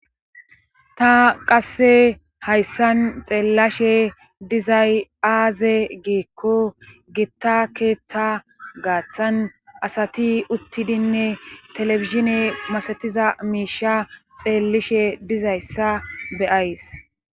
Ta qasse hayssan xeellashe dizayaaze giikko gitta keeththa gaaththan asati uttidinne telebishine masetiza miisha xeellishe dizayssa beyays